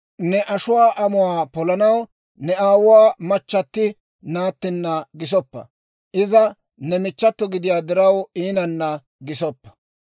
Ne ashuwaa amuwaa polanaw ne aawuwaa machchati naattinna gisoppa; iza ne michchato gidiyaa diraw iinanna gisoppa.